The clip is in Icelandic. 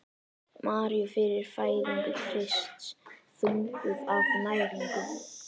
Maríu fyrir fæðingu Krists: þunguð af næringu.